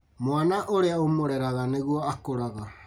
Mwana ũrĩa ũmũreraga nĩguo akũraga